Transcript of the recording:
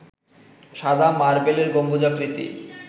সাদা মার্বেলের গম্বুজাকৃতি